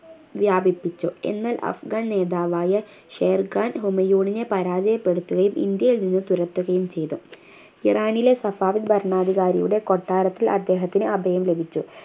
വ്യാപിപ്പിച്ചു എന്നാൽ അഫ്‌ഗാൻ നേതാവായ ഷേർ ഖാൻ ഹുമയൂണിനെ പരാജയപ്പെട്ടുത്തുകയും ഇന്ത്യയിൽ നിന്ന് തുരത്തുകയും ചെയ്തു ഇറാനിലെ സഫാവിദ് ഭരണാധികാരിയുടെ കൊട്ടാരത്തിൽ അദ്ദേഹത്തിന് അഭയം ലഭിച്ചു